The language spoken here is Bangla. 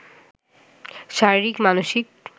শারীরিক, মানসিক